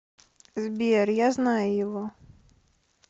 сбер я знаю его